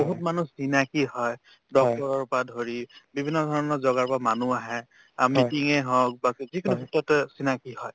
আৰু বহুত মানুহ চিনাকি হয় doctor ৰ পাই ধৰি বিভিন্নধৰণৰ জগাৰ পৰা মানুহ আহে অ meeting য়ে হওক বা কি যিকোনো গোটতে চিনাকি হয়